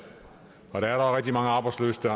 og der er da rigtig mange arbejdsløse der